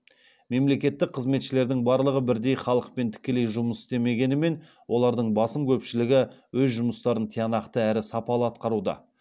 мемлекеттік қызметшілердің барлығы бірдей халықпен тікелей жұмыс істемегенімен олардың басым көпшілігі өз жұмыстарын тиянақты әрі сапалы атқаруда